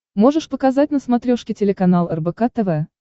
можешь показать на смотрешке телеканал рбк тв